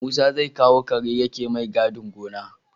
Musa zai kawo kare yake mai gadin gona